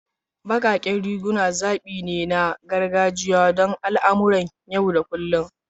Baƙaƙen riguna zaɓi ne na gargajiya don al'amuran yau da kullun.